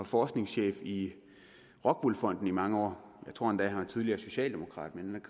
forskningschefen i rockwool fonden gennem mange år jeg tror endda at han er tidligere socialdemokrat men